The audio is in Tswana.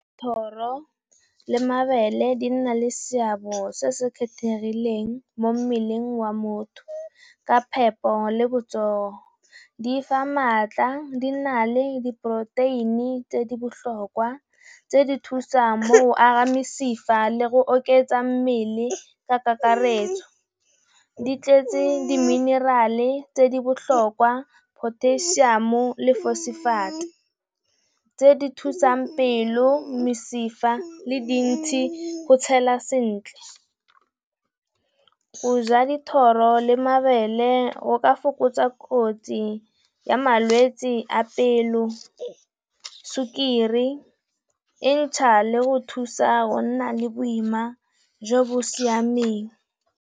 Dithoro le mabele di na le seabe se se kgethegileng mo mmeleng wa motho ka phepo le botsogo. Di fa maatla, di na le diporoteini tse di botlhokwa, tse di thusang go aga mesifa le go oketsa mmele ka kakaretso. Di tletse di minerale tse di botlhokwa potasiamo le fosefeite. Tse di thusang pelo, mesifa le dintshi go tshela sentle, go ja dithoro le mabele go ka fokotsa kotsi ya malwetsi a pelo, sukiri e ntšha le go thusa gonna le boima jo bo siameng.